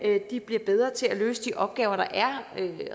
de bliver bedre til at løse de opgaver der er